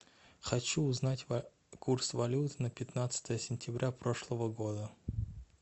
хочу узнать курс валют на пятнадцатое сентября прошлого года